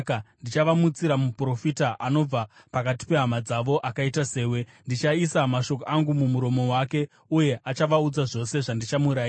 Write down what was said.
Ndichavamutsira muprofita anobva pakati pehama dzavo akaita sewe; ndichaisa mashoko angu mumuromo wake, uye achavaudza zvose zvandichamurayira.